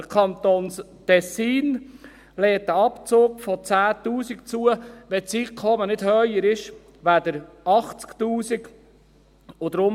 Der Kanton Tessin lässt einen Abzug von 10 000 Franken zu, wenn das Einkommen nicht höher ist als 80 000 Franken.